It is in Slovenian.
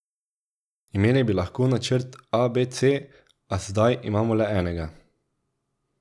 Imeli bi lahko načrt a, b, c, a zdaj imamo le enega.